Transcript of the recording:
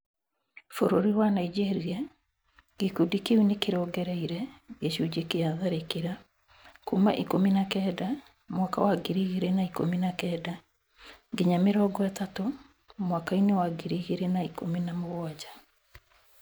Bũrũri-inĩ wa Nigeria , Gĩkundĩ kĩu nĩkĩrongereire gĩcunji kĩa tharĩkĩra kuma ikũmi na kenda , mwaka wa ngiri igĩrĩ na ikũmi na kenda nginya mĩrongo ĩtatũ, mwaka-inĩ wa ngiri igĩrĩ na ikũmi na mũgwanja .